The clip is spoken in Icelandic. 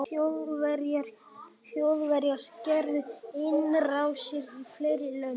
þjóðverjar gerðu innrásir í fleiri lönd